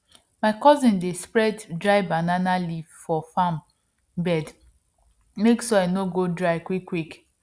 my cousin dey spread dry banana leaf for farm bed make soil no go dry quickquick